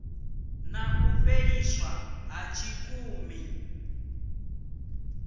na u fheliswa ha tshikimu